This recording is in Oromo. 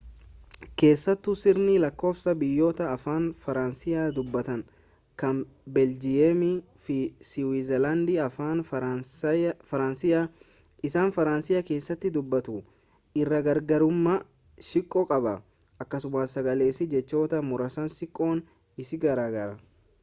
keessattuu sirni lakkoofsaa biyyoota afaan faransaay dubbatan kan beeljiyeemii fi siwiizerlaandii afaan faransaay isa faransaay keessatti dubbatamu irraa garagarummaa xiqqoo qaba akkasumas sagaleessi jechoota muraasaas xiqqoo isii garaagara